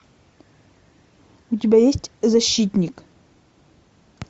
у тебя есть защитник